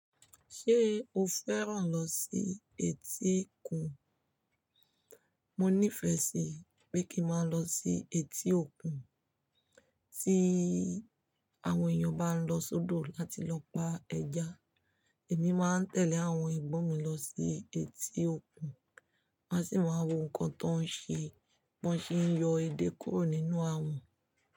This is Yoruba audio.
Ṣé o fẹ́ràn lọ sí etí òkun? Mo nífẹ̀ẹ́ sí pé kí n máa lọ sí etí òkun. Tí àwọn èèyàn bá ń lọ sódò láti lọ pa ẹja, èmi máa ń tẹ̀lé àwọn ẹ̀gbọ́n mi lọ sí etí òkun. Máa sì máa ń wo nǹkan tó ń ṣe. Bo ṣe ń yọ edé kúrò nínú àwọ̀n.